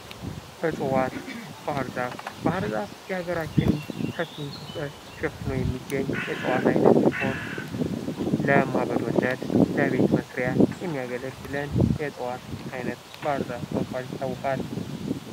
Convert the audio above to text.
እጽዋት ባህር ዛፍ ፡-ባህር ዛፍ የአገራችን ሰፊው ክፍል ሸፍኖ የሚገኝ የእጽዋት አይነት ሲሆን ለማገዶነት ለቤት መስሪያ የሚያገለግለን የእጽዋት አይነት ባህር ዛፍ በመባል ይታወቃል።